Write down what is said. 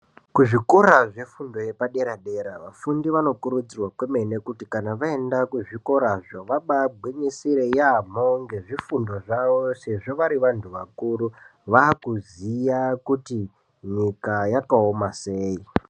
Kuzvikora zvefundo yepadera dera vafundi vanokurudzirwa kwemene kuti kana vaenda kuzvikora izvo vabagwinyisire yaamho ngezvifundo zvavo sezvo vari vantu vakuru, vakuziya kuti nyika yakaoma sei.